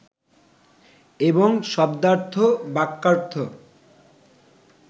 এবং শব্দার্থ, বাক্যার্থ